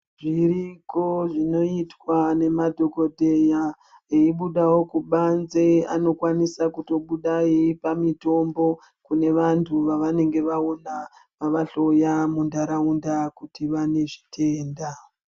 Zviriko zvinoitwa nemadhokoteya, eibudawo kubanze anokwanisa kutobuda eipa mitombo, kune vantu vavanenge vaona, vavahloya muntaraunda kuti vane zvitenda.